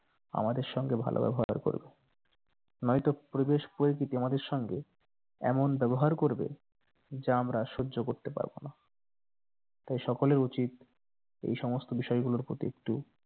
আমাদের সঙ্গে ভালো ব্যবহার করবে নয়তো পরিবেশ প্রকৃতি আমাদের সঙ্গে এমন ব্যবহার করবে যা আমরা সহ্য করতে পারবোনা তাই সকলের উচিত এই সমস্ত বিষয় গুলোর প্রতি একটু